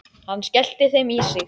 Hann skellti þeim í sig.